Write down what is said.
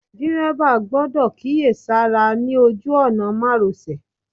Dírẹ́bà gbọ́dọ̀ kíyèsára ní ojú òná márosẹ̀.